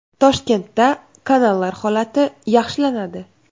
Toshkentda kanallar holati yaxshilanadi.